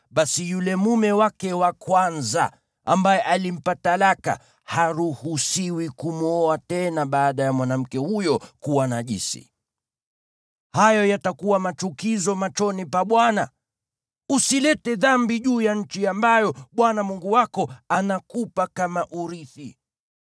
basi yule mume wake wa kwanza, ambaye alimpa talaka, haruhusiwi kumwoa tena baada ya mwanamke huyo kuwa najisi. Hayo yatakuwa machukizo machoni pa Bwana . Usilete dhambi juu ya nchi ambayo Bwana Mungu wako anakupa kama urithi.